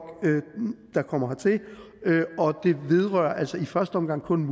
der kommer hertil og det vedrører altså i første omgang kun